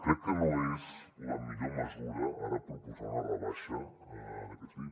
crec que no és la millor mesura ara proposar una rebaixa en aquest sentit